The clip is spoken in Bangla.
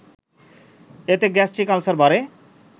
এতে গ্যাস্ট্রিক আলসার বাড়ে